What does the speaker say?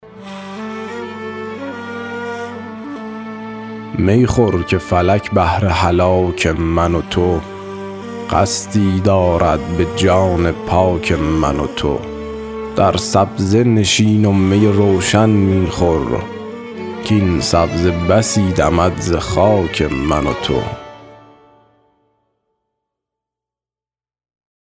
می خور که فلک بهر هلاک من و تو قصدی دارد به جان پاک من و تو در سبزه نشین و می روشن می خور کاین سبزه بسی دمد ز خاک من و تو